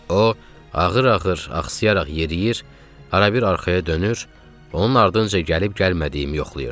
O ağır-ağır, axsıyaraq yeriyir, arabir arxaya dönür, onun ardınca gəlib gəlməyimi yoxlayırdı.